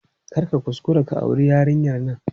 Kar ka kuskura ka auri yarinyar nan!